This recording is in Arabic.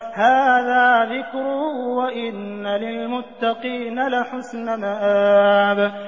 هَٰذَا ذِكْرٌ ۚ وَإِنَّ لِلْمُتَّقِينَ لَحُسْنَ مَآبٍ